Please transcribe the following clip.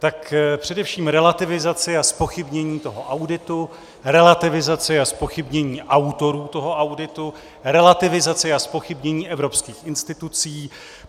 Tak především relativizaci a zpochybnění toho auditu, relativizaci a zpochybnění autorů toho auditu, relativizaci a zpochybnění evropských institucí.